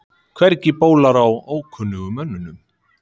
Hvergi bólar á ókunnugum mönnum.